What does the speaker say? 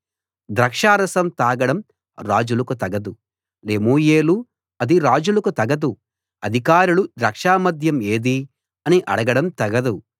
ద్రాక్షారసం తాగడం రాజులకు తగదు లెమూయేలు అది రాజులకు తగదు అధికారులు ద్రాక్ష మద్యం ఏది అని అడగడం తగదు